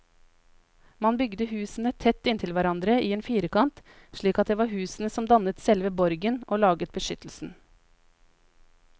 Man bygde husene tett inntil hverandre i en firkant, slik at det var husene som dannet selve borgen og laget beskyttelsen.